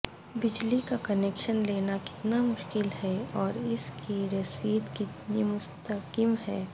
بجلی کا کنیکشن لینا کتنا مشکل ہے اور اس کی رسد کتنی مستحکم ہے